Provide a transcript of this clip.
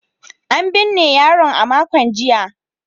An binne yaron a makon jiya.